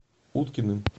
уткиным